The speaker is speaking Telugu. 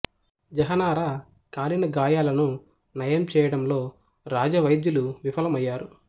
జహనారా కాలిన గాయాలను నయం చేయడంలో రాజ వైద్యులు విఫలమయ్యారు